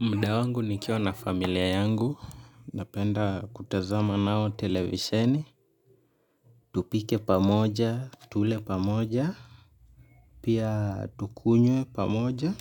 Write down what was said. Muda wangu nikiwa na familia yangu, napenda kutazama nao televisheni, tupike pamoja, tule pamoja, pia tukunywe pamoja,